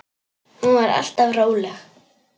Hún var alltaf róleg.